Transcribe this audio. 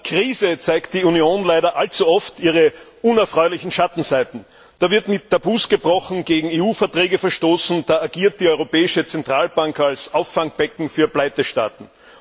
In der Krise zeigt die Union leider allzu oft ihre unerfreulichen Schattenseiten. Da wird mit Tabus gebrochen und gegen EU Verträge verstoßen, da agiert die europäische Zentralbank als Auffangbecken für Pleitestaaten.